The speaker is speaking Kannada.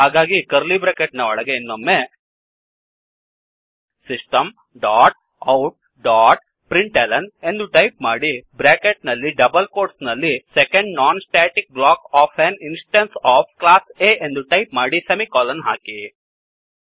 ಹಾಗಾಗಿ ಕರ್ಲಿ ಬ್ರ್ಯಾಕೆಟ್ ನ ಒಳಗೆ ಇನ್ನೊಮ್ಮೆ ಸಿಸ್ಟಮ್ ಡಾಟ್ ಔಟ್ ಡಾಟ್println ಎಂದು ಟೈಪ್ ಮಾಡಿ ಬ್ರ್ಯಾಕೆಟ್ ನಲ್ಲಿ ಡಬಲ್ ಕೋಟ್ಸ್ ನಲ್ಲಿSecondNonstaticblock of an instance of class A ಎಂದು ಟೈಪ್ ಮಾಡಿ ಸೆಮಿಕೋಲನ್ ಹಾಕಿ